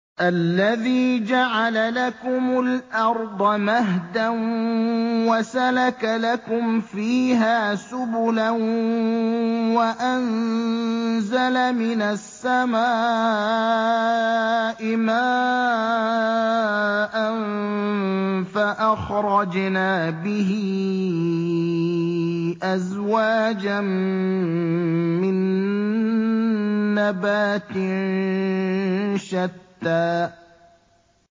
الَّذِي جَعَلَ لَكُمُ الْأَرْضَ مَهْدًا وَسَلَكَ لَكُمْ فِيهَا سُبُلًا وَأَنزَلَ مِنَ السَّمَاءِ مَاءً فَأَخْرَجْنَا بِهِ أَزْوَاجًا مِّن نَّبَاتٍ شَتَّىٰ